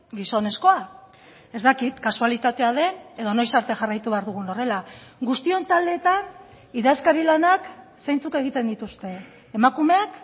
gizonezkoa ez dakit kasualitatea den edo noiz arte jarraitu behar dugun horrela guztion taldeetan idazkari lanak zeintzuk egiten dituzte emakumeak